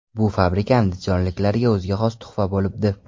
Bu fabrika andijonliklarga o‘ziga xos tuhfa bo‘libdi.